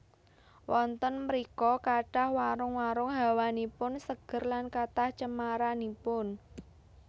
Wonten mrika kathah warung warung hawanipun seger lan kathah cemaranipun